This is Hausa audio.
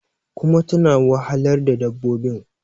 kuma tana wahalar da dabbobin